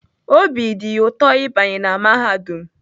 Obi dị ya ụtọ ịbanye na mahadum